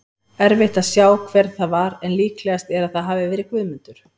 Erfitt að sjá hver það var en líklegast er að það hafi verið Guðmundur.